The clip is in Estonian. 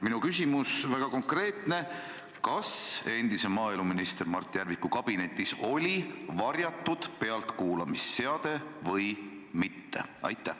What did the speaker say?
Minu küsimus on väga konkreetne: kas endise maaeluministri Mart Järviku kabinetis oli pealtkuulamisseade või mitte?